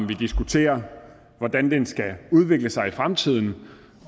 vi diskuterer hvordan den skal udvikle sig i fremtiden